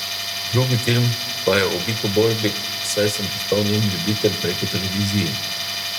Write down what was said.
Drugi film pa je o bikoborbi, saj sem postal njen ljubitelj preko televizije.